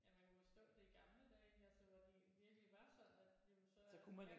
Ja man kunne forstå det i gamle dage ikke altså hvor det virkelig var sådan at jamen så